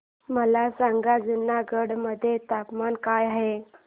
मला सांगा जुनागढ मध्ये तापमान काय आहे